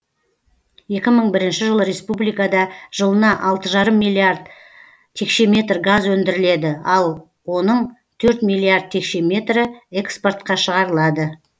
екі мың бірінші жылы республикада жылына алты жарым миллиард текше метр газ өндіріледі оның төрт миллиард текше метр экспортқа шығарылады